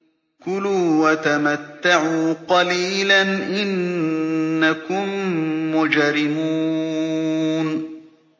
كُلُوا وَتَمَتَّعُوا قَلِيلًا إِنَّكُم مُّجْرِمُونَ